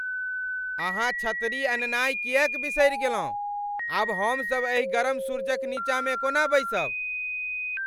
अहाँ छतरी अननाय किएक बिसरि गेलहुँ? आब हमसभ एहि गरम सूरूज क नीचाँ मे कोना बैसब?